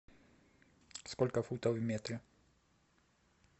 сколько футов в метре